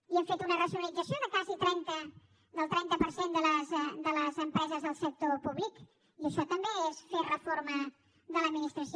i hem fet una racionalització de quasi el trenta per cent de les empreses del sector públic i això també és fer reforma de l’administració